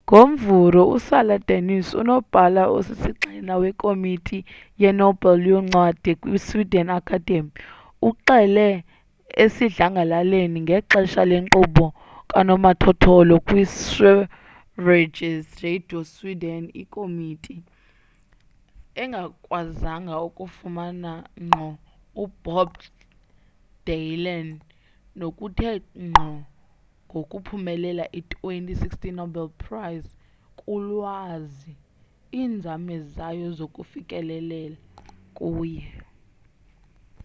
ngomvulo usara danius unobhala osisigxina wekomiti yenobel yoncwadi kwisweden academy uxele esidlangalaleni ngexesha lenkqubo kanomathotholo kwisveriges radio esweden ikomiti engakwazanga ukumfumana ngqo ubob dylan ngokuthe ngqo ngokuphumelela i-2016 nobel prize kulwazi iinzame zayo zokufikelela kuye